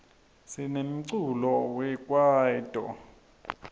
sinemiculo we kwaito